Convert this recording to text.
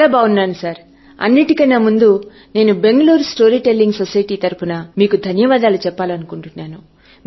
చాలా బాగున్నాను సార్ అన్నిటి కన్నా ముందు నేను బెంగళూరు స్టోరీ టెల్లింగ్ societyతరపున ధన్యవాదములు తెలపాలనుకుంటున్నాను